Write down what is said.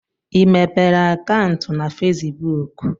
I mepere akantu na fesibuk?